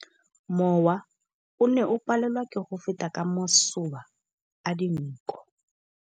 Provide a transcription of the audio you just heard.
Mowa o ne o palelwa ke go feta ka masoba a dinko.